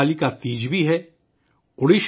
ہرتالیکا تیج بھی 30 اگست کو ہے